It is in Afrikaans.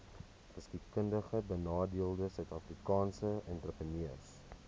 geskiedkundigbenadeelde suidafrikaanse entrepreneurs